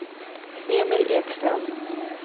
Emil Ekstrand